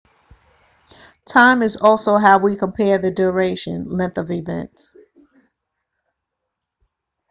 time is also how we compare the duration length of events